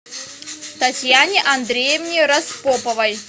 татьяне андреевне распоповой